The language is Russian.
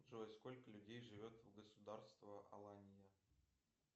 джой сколько людей живет в государство алания